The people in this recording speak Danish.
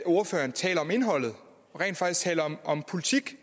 ordføreren taler om indholdet og rent faktisk taler om politik